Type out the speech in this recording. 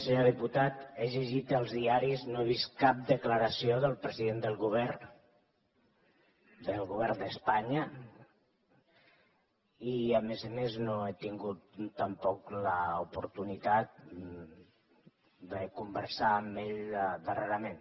senyor diputat he llegit els diaris no he vist cap declaració del president del govern d’espanya i a més a més no he tingut tampoc l’oportunitat de conversar amb ell darrerament